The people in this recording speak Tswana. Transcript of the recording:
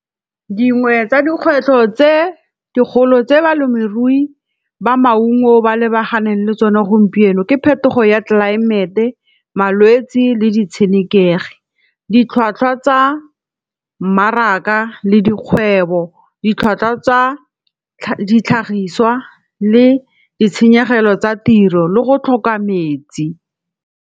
Dingwe tsa dikgwetlho tse dikgolo tse balemirui ba maungo ba lebaganeng le tsone gompieno ke phetogo ya tlelaemete, malwetsi le di tshenekegi. Ditlhwatlhwa tsa mmaraka le dikgwebo. Ditlhwatlhwa tsa ditlhagiswa le ditshenyegelo tsa tiro le go tlhoka metsi.